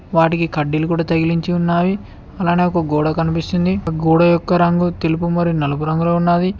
వాటికి కడ్డీలు కూడా తగిలించి ఉన్నాయి. అలానే ఒక గోడ కనిపిస్తుంది. గోడ యొక్క రంగు తెలుపు మరియు నలుపు రంగులో ఉన్నాది.